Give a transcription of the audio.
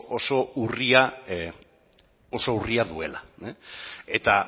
oso oso urria duela eta